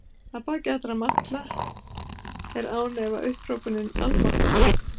Að baki alla malla er án efa upphrópunin almáttugur.